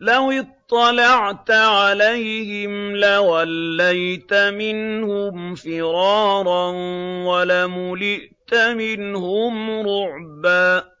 لَوِ اطَّلَعْتَ عَلَيْهِمْ لَوَلَّيْتَ مِنْهُمْ فِرَارًا وَلَمُلِئْتَ مِنْهُمْ رُعْبًا